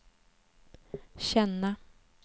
känna